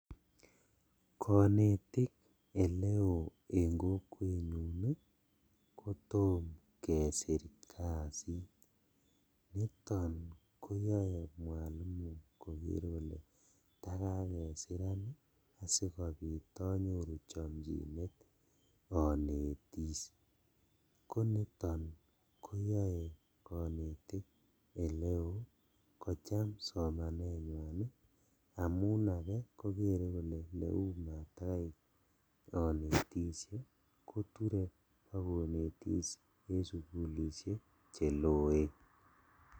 Konetik oleo en kokwenyun kotom kesir kazit niton koyoe mwalimu koker kole takakesiran sikobit onyoru chomchinet onetis, koniton koyoe konetik eleo kocham somanenywan ii amun aje kokere kole leu matakai onetishe koture bokonetis en sugulishek cheloen.